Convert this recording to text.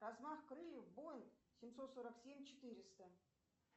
размах крыльев боинг семьсот сорок семь четыреста